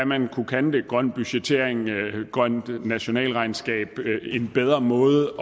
man kunne kalde grøn budgettering et grønt nationalregnskab en bedre måde